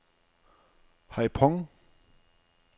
Haiphong